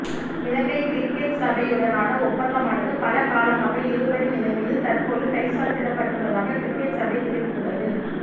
இலங்கை cricket சபையுடனான ஒப்பந்தமானது பல காலமாக இழுபறி நிலைமையில் தற்போது கைச்சாத்திடப்பட்டுள்ளதாக கிரிக்கெட் சபை தெரிவித்துள்ளது